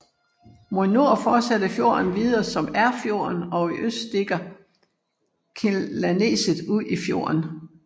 Mod nord fortsætter fjorden videre som Erfjorden og i øst stikker Kilaneset ud i fjorden